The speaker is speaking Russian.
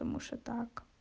потому что так